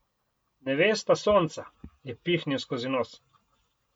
Nevesta sonca, je pihnil skozi nos.